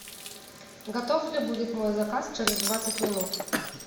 готов ли будет мой заказ через двадцать минут